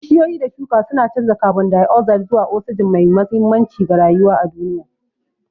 Bishiyoyi da shuka suna canza kabon dai'ozaid zuwa osijin, mai mahimmanci ga rayuwa a duniya.